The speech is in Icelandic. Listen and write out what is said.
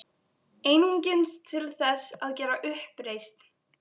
Einungis til þess að gera uppreisn.